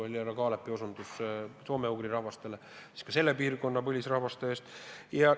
Härra Kaalep osutas enne soome-ugri rahvastele, ka selle piirkonna põlisrahvaste eest tuleb seista.